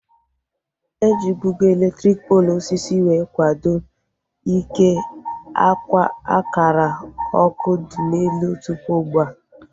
Ejibugo elektriki poolu osisi wee kwado ike akara ọkụ dị n'elu tụpụ ugbua